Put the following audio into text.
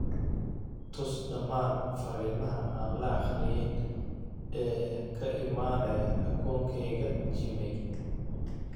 tus dhammaan fariimaha aan la akhriyin ee ka imanaya akoonkayga gmail